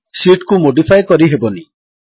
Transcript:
sheet କୁ modify କରିହେବନି160